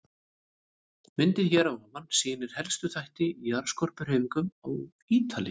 Myndin hér að ofan sýnir helstu þætti í jarðskorpuhreyfingum á Ítalíu.